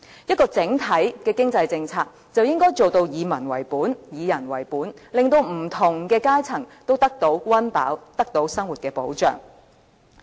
一項整體的經濟政策，就應該做到以民為本、以人為本，令不同階層都得到溫飽，得到生活的保障。